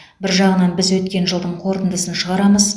бір жағынан біз өткен жылдың қорытындысын шығарамыз